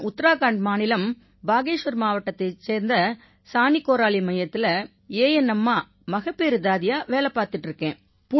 உத்தராகண்ட் மாநிலம் பாகேஷ்வர் மாவட்டத்தைச் சேர்ந்த சானீ கோராலீ மையத்தில ANMஆ மகப்பேறுத் தாதியா வேலை பார்த்திட்டு இருக்கேன்